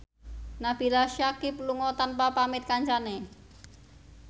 Nabila Syakieb lunga tanpa pamit kancane